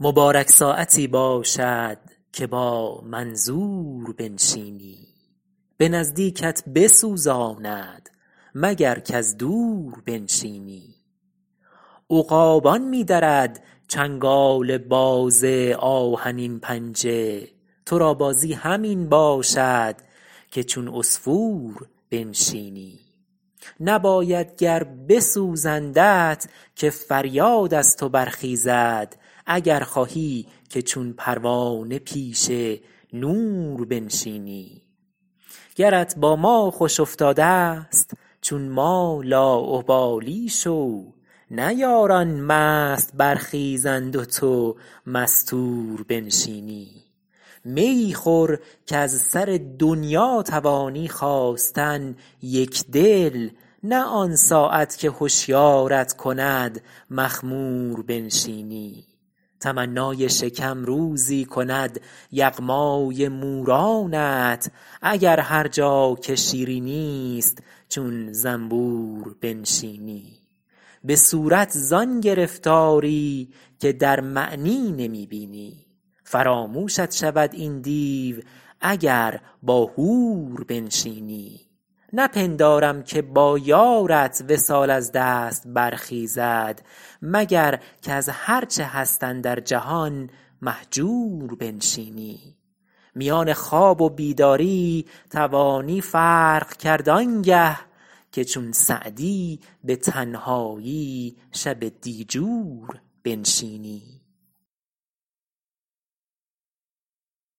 مبارک ساعتی باشد که با منظور بنشینی به نزدیکت بسوزاند مگر کز دور بنشینی عقابان می درد چنگال باز آهنین پنجه تو را بازی همین باشد که چون عصفور بنشینی نباید گر بسوزندت که فریاد از تو برخیزد اگر خواهی که چون پروانه پیش نور بنشینی گرت با ما خوش افتاده ست چون ما لاابالی شو نه یاران مست برخیزند و تو مستور بنشینی میی خور کز سر دنیا توانی خاستن یکدل نه آن ساعت که هشیارت کند مخمور بنشینی تمنای شکم روزی کند یغمای مورانت اگر هر جا که شیرینی ست چون زنبور بنشینی به صورت زآن گرفتاری که در معنی نمی بینی فراموشت شود این دیو اگر با حور بنشینی نپندارم که با یارت وصال از دست برخیزد مگر کز هر چه هست اندر جهان مهجور بنشینی میان خواب و بیداری توانی فرق کرد آنگه که چون سعدی به تنهایی شب دیجور بنشینی